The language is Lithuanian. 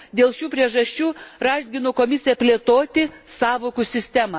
Dėl šių priežasčių raginu Komisiją plėtoti sąvokų sistemą.